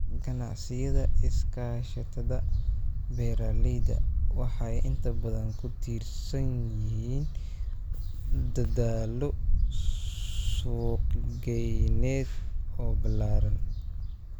Ganacsiyada iskaashatada beeralayda waxay inta badan ku tiirsan yihiin dadaallo suuqgeyneed oo ballaaran.